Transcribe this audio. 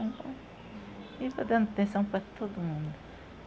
E estou dando atenção para todo mundo.